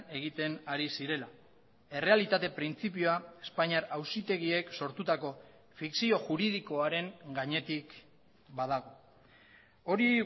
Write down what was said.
egiten ari zirela errealitate printzipioa espainiar auzitegiek sortutako fikzio juridikoaren gainetik badago hori